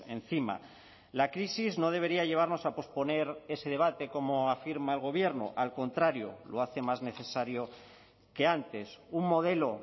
encima la crisis no debería llevarnos a posponer ese debate como afirma el gobierno al contrario lo hace más necesario que antes un modelo